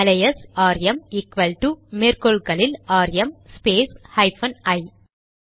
alias RM equal to மேற்கோள்களில் RM space hyphen ஐ